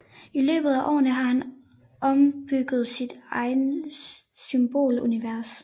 I løbet af årene har han opbygget sit eget symbolunivers